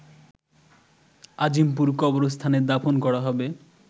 আজিমপুর কবরস্থানে দাফন করা হবে